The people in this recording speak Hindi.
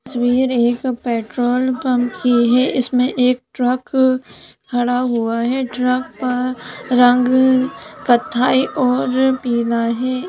तस्वीर एक पेट्रोल पंप कि है इसमे एक ट्रक खड़ा हुआ है ट्रक पर रंग कत्थाई और पिला है।